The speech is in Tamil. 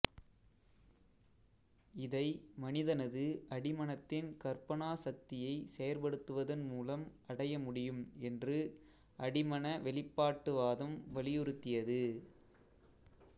இதை மனிதனது அடிமனத்தின் கற்பனா சக்தியைச் செயற்படுத்துவதன் மூலம் அடைய முடியும் என்று அடிமன வெளிப்பாட்டுவாதம் வலியுறுத்தியது